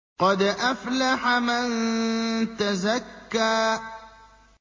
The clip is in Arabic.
قَدْ أَفْلَحَ مَن تَزَكَّىٰ